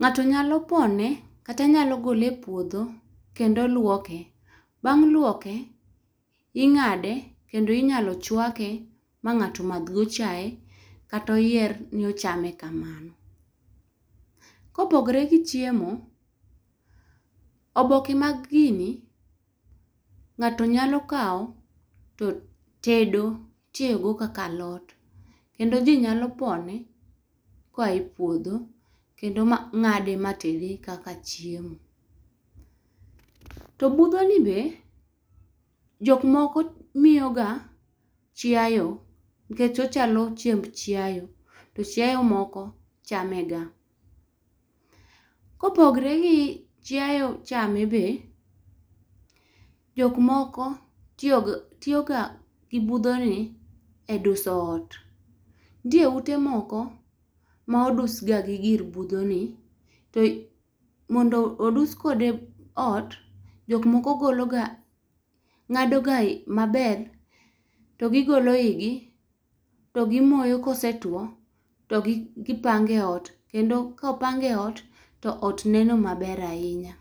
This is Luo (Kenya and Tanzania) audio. Ng'ato nyalo pone kata nyalo gole e puodho, kendo lwoke. Bang' lwoke, ing'ade kendo inyalo chwake ma ng'ato madh go chaye kata oyier ni ochame kamano. Kopogre gi chiemo, oboke mag gini ng'ato nyalo kawo, to tedo, itiyogo kaka alot. Kendo ji nyalo pone koa e puodho, kendo ng'ade matede kaka chiemo. To budhoni be , jokmoko miyoga chiayo, nikech ochalo chiemb chiayo, to chiayo moko chamega. Kopogre gi chiayo chame be, jokmoko tiyo ga gi budhoni e duso ot. Nitie ute moko, ma odusga gi gir budhoni, to mondo odus kode ot, jok moko golo ga, ng'ado ga maber to gigolo igi, tigimoyo, kosetuwo to gipango e ot. Kendo kopang e ot, ot neno maber ahinya.